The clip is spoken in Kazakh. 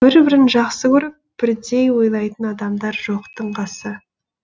бір бірін жақсы көріп бірдей ойлайтын адамдар жоқтың қасы